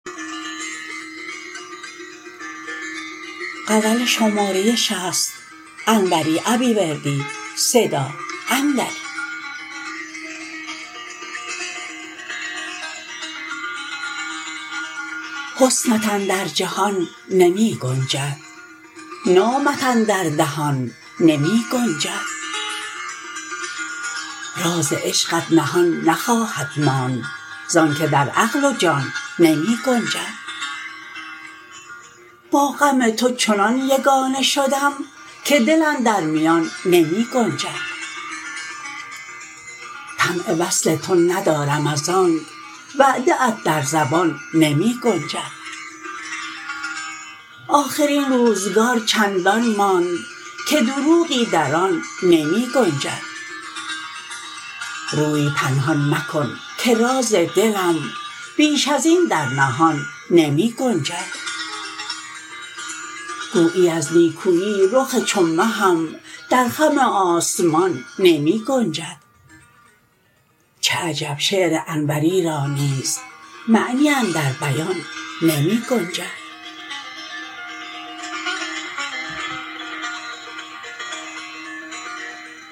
حسنت اندر جهان نمی گنجد نامت اندر دهان نمی گنجد راز عشقت نهان نخواهد ماند زانکه در عقل و جان نمی گنجد با غم تو چنان یگانه شدم که دل اندر میان نمی گنجد طمع وصل تو ندارم ازآنک وعده ات در زبان نمی گنجد آخر این روزگار چندان ماند که دروغی در آن نمی گنجد روی پنهان مکن که راز دلم بیش از این در نهان نمی گنجد گویی از نیکویی رخ چو مهم در خم آسمان نمی گنجد چه عجب شعر انوری را نیز معنی اندر بیان نمی گنجد